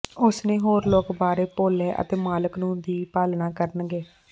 ਉਸ ਨੇ ਹੋਰ ਲੋਕ ਬਾਰੇ ਭੁੱਲ ਹੈ ਅਤੇ ਮਾਲਕ ਨੂੰ ਦੀ ਪਾਲਣਾ ਕਰਨਗੇ